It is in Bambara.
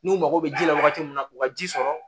N'u mago bɛ ji la wagati min na u ka ji sɔrɔ